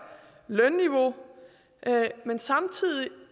lønniveau men samtidig